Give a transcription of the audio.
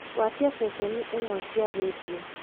gwatia ceceni imwe cia rĩndiũ